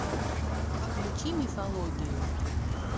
включи мифологию